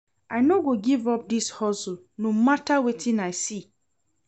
I no go give up dis hustle no mata wetin I see.